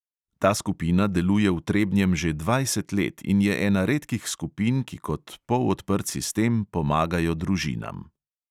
Ta skupina deluje v trebnjem že dvajset let in je ena redkih skupin, ki kot polodprt sistem pomagajo družinam.